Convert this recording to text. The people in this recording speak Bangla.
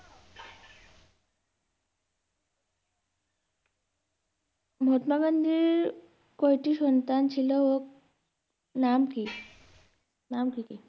মহাত্মা গান্ধীর কয়টি সন্তান ছিল ও নাম কি? নাম কি কি?